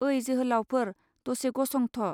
ओइ जोहोलावफोर, दसे गसंथ'